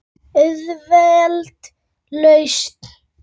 Auðveld lausn.